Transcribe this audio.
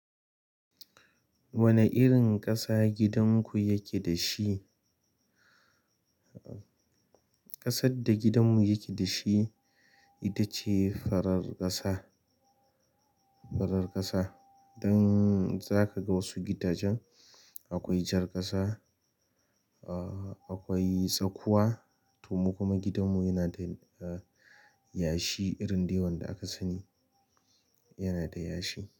Wani irin ƙasa gidan ku ya ke da shi? Ƙasar da gidanmu yake da shi ita ce farar ƙasa, farar ƙasa. Dan za ka ga was gidajen akwai jar ƙasa, akwai tsakuwa to mu kuma gidanmu yana da yashi irin dai wanda aka sani, yana da yashi.